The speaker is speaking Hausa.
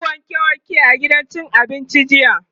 tayi wanke wanke a gidan cin abincin jiya.